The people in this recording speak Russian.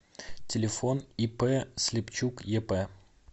телефон ип слепчук еп